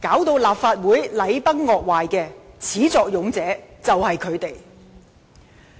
令立法會禮崩樂壞的始作俑者就是他們。